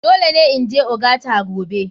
Dole ne in je ogata gobe.